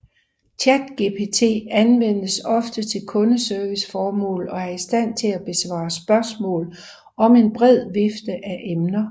ChatGPT anvendes ofte til kundeserviceformål og er i stand til at besvare spørgsmål om en bred vifte af emner